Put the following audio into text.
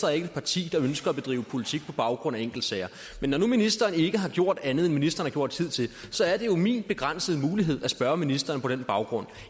er ikke et parti der ønsker at bedrive politik på baggrund af enkeltsager men når nu ministeren ikke har gjort andet end ministeren har gjort hidtil så er det jo min begrænsede mulighed at spørge ministeren på den baggrund